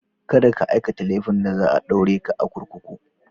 Kada ka aikata laifin da zai sa a ɗaure ka a kurkuku.